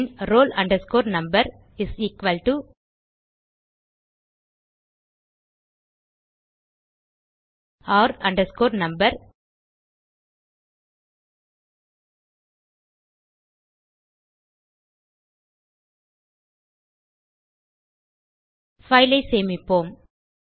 bin roll number is equal to r no fileஐ சேமிப்போம்